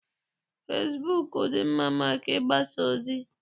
Fesibuuku dị mma maka ịgbasa ozi.